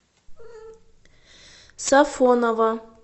сафоново